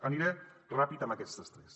aniré ràpid amb aquestes tres